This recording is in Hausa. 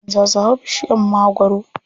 Yaran za su hau bishiyar magwaro.